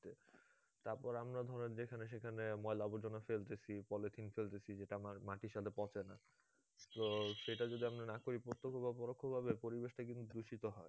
তারপর আমরা ধরেন যেখানে সেখানে ময়লা আবর্জনা ফেলতেছি polythene ফেলতেছি যেটা মাটির সাথে পচে না তো সেটা যদি আমরা না করি প্রত্যক্ষ বা পরোক্ষভাবে পরিবেশটা কিন্তু দূষিত হয়